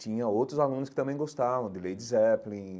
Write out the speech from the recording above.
Tinha outros alunos que também gostavam, de Lady Zeppelin,